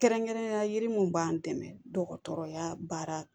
Kɛrɛnkɛrɛnnenya yiri mun b'an dɛmɛ dɔgɔtɔrɔya baara